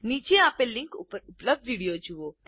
નીચે આપેલ લીંક ઉપર ઉપલબ્ધ વિડીઓ જુઓ